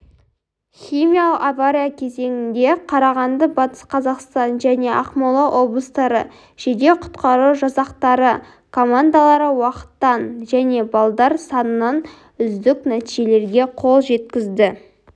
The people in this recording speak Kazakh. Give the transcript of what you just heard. химиялық авария кезеңінде қарағанды батыс қазақстан және ақмола облыстары жедел-құтқару жасақтары командалары уақыттан және балдар санынан үздік нәтижелерге қол жеткізді